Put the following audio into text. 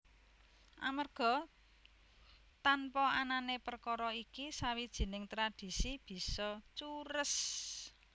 Amerga tanpa anané perkara iki sawijining tradhisi bisa cures